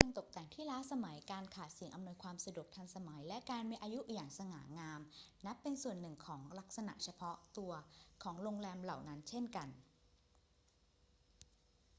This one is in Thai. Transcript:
เครื่องตกแต่งที่ล้าสมัย การขาดสิ่งอำนวยความสะดวกทันสมัย และการมีอายุอย่างสง่างามนับเป็นส่วนหนึ่งของลักษณะเฉพาะตัวของโรงแรมเหล่านั้นเช่นกัน